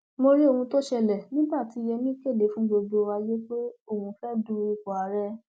mo rí ohun tó ṣẹlẹ nígbà tí yémí kéde fún gbogbo ayé pé òun fẹẹ du ipò ààrẹ